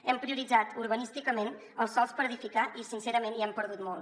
hem prioritzat urbanísticament els sòls per edificar i sincerament hi hem perdut molt